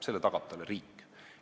Selle tagab talle riik.